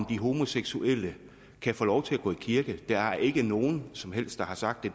de homoseksuelle kan få lov til at gå i kirke det er der ikke nogen som helst der har sagt at